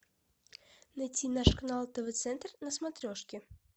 найти наш канал тв центр на смотрешке